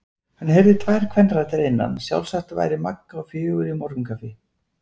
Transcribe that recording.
Hann heyrði tvær kvenraddir að innan, sjálfsagt væri Magga á fjögur í morgunkaffi.